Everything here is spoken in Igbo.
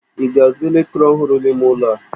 Ị ga-azụ elekere ọhụrụ n'ime ụlọ a?